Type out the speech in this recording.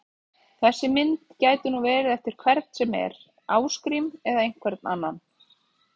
Þessi mynd gæti nú verið eftir hvern sem er, Ásgrím eða einhvern annan!